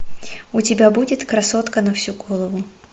у тебя будет красотка на всю голову